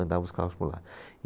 Andava os carros por lá.